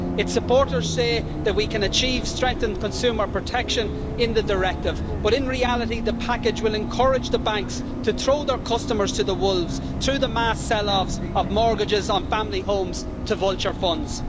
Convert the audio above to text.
Its supporters say that we can achieve strengthened consumer protection in the directive, but in reality the package will encourage the banks to throw their customers to the wolves through the mass sell offs of mortgages on family homes to vulture funds.